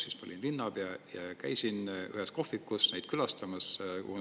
Siis ma olin linnapea, käisin ühes kohvikus neid külastamas, kus nad kogunesid.